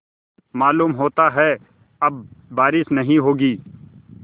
मालूम होता है अब बारिश नहीं होगी